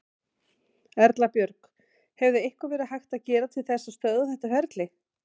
Erla Björg: Hefði eitthvað verið hægt að gera til þess að stöðva þetta ferli?